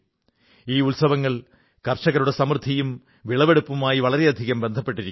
ഈ ഉത്സവങ്ങൾ കർഷകരുടെ സമൃദ്ധിയും വിളവുകളുമായി വളരെയധികം ബന്ധപ്പെട്ടിരിക്കുന്നു